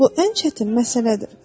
Bu ən çətin məsələdir.